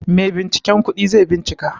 Maibinciken kudi zai bincika.